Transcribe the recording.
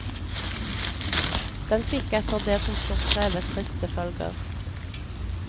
Den fikk etter det som står skrevet triste følger.